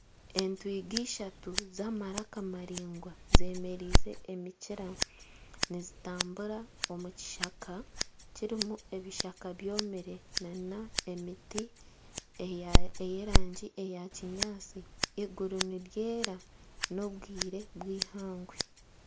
Entwiga ishatu z'amaraka maraingwa zemereize emikira nizitambura omu kishaka kirimu ebishaka byomire nana emiti ey'erangi ya kinyaatsi eiguru niryera n'obwire bwihangwe.